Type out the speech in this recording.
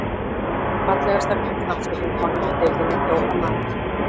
Fallegasta knattspyrnukonan í deildinni: Dóra María.